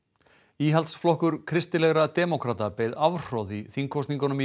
íhaldsflokkur kristilegra demókrata beið afhroð í þingkosningunum í